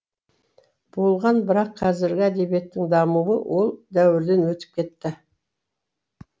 болған бірақ қазіргі әдебиеттің дамуы ол дәуірден өтіп кетті